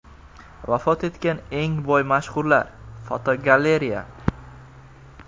Vafot etgan eng boy mashhurlar (fotogalereya).